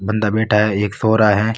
बंदा बैठा है एक सो रहा है।